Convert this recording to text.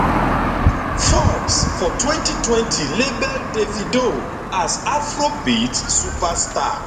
forbes for 2020 label davido as afrobeats superstar